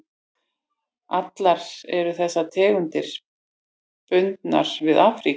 Allar eru þessar tegundir bundnar við Afríku.